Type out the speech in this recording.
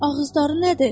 Ağızları nədir?